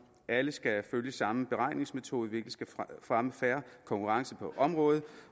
at alle skal følge samme beregningsmetode hvilket skal fremme fair konkurrence på området